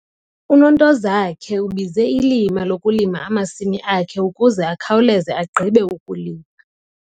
UNontozakhe ubize ilima lokulima amasimi akhe ukuze akhawuleze agqibe ukulima.